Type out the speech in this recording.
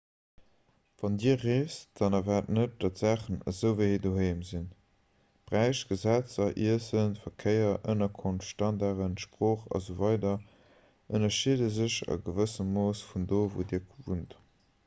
wann dir reest dann erwaart net datt d'saachen esou ewéi doheem sinn bräich gesetzer iessen verkéier ënnerkonft standarden sprooch asw ënnerscheede sech a gewëssem mooss vun do wou dir wunnt